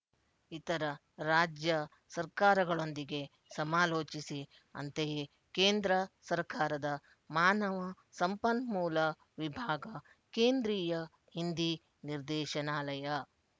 ಇತರ ರಾಜ್ಯ ಸರ್ಕಾರಗಳೊಂದಿಗೆ ಸಮಾಲೋಚಿಸಿ ಅಂತೆಯೇ ಕೇಂದ್ರ ಸರ್ಕಾರದ ಮಾನವ ಸಂಪನ್ಮೂಲ ವಿಭಾಗ ಕೇಂದ್ರೀಯ ಹಿಂದೀ ನಿರ್ದೇಶನಾಲಯ